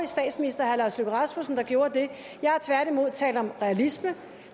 statsminister herre lars løkke rasmussen der gjorde det jeg har tværtimod talt om realisme